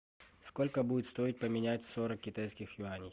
сколько будет стоить поменять сорок китайских юаней